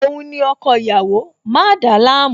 Òun ni ọkọ ìyàwó, má dàálàmú!